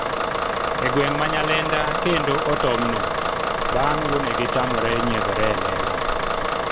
e gweng' ma Nyalenda kendo otom not bang' wuonegi tamore nyiedhore elela